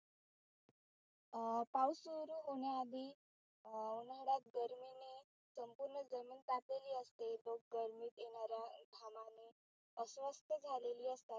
अं पाऊस सुरु होण्या आधी अं घरात गर्मीने संपुर्ण जमीन तापलेली असते. गर्मीत येणाऱ्या घामाने अस्वस्थ झालेली असतात.